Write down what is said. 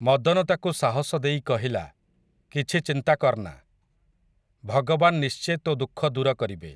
ମଦନ ତାକୁ ସାହସ ଦେଇ କହିଲା, କିଛି ଚିନ୍ତା କର୍‌ନା, ଭଗବାନ୍ ନିଶ୍ଚେ ତୋ ଦୁଃଖ ଦୂର କରିବେ ।